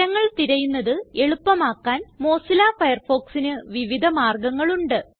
വിവരങ്ങൾ തിരയുന്നത് എളുപ്പമാക്കാൻ മൊസില്ല Firefoxന് വിവിധ മാർഗങ്ങൾ ഉണ്ട്